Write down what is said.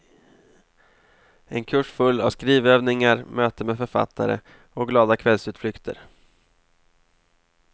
En kurs full av skrivövningar, möte med författare och glada kvällsutflykter.